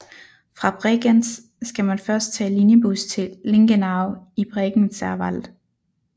Fra Bregenz skal man først tage linjebus til Lingenau i Bregenzerwald